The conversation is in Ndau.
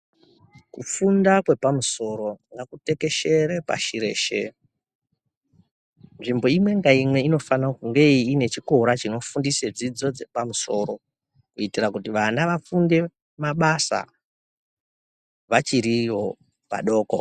Kufunda kwepamusoro ngakutekeshere pashi reshe nzvimbo imwe ngaumwe inofanira kunge ine chikora chinofundisa dzidzo dzapamusoro kuitira kuti vana vafunde mabasa vachiriwo vadoko.